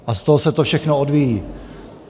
A z toho se to všechno odvíjí.